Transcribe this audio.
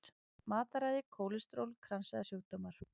Matarræði, kólesteról, kransæðasjúkdómar.